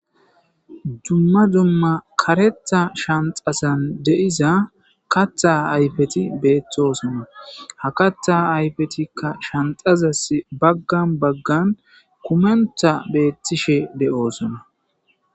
dumma dumma karetha shanxasan de'iza katha ayfeti beeththosona ha katha ayfetikka shanxazas baggan baggan kumentha beettishe de7oosona.